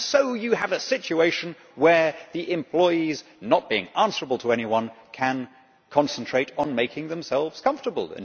And so you have a situation where the employees, not being answerable to anyone, can concentrate on making themselves comfortable.